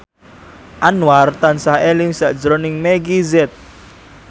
Anwar tansah eling sakjroning Meggie Z